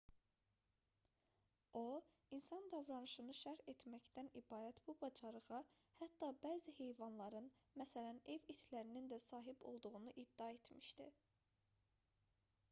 o insan davranışını şərh etməkdən ibarət bu bacarığa hətta bəzi heyvanların məsələn ev itlərinin də sahib olduğunu iddia etmişdi